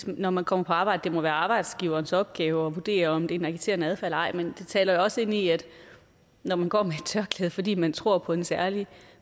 når man kom på arbejde det må være arbejdsgiverens opgave at vurdere om det er en agiterende adfærd eller ej men det taler jo også ind i at når man går med et tørklæde fordi man tror på en særlig